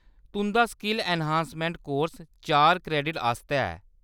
तुंʼदा skill enhancement course चार credit आस्तै ऐ।